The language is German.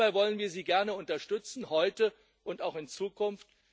Dabei wollen wir Sie gerne unterstützen, heute und auch in Zukunft